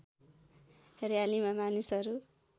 र्‍यालीमा मानिसहरू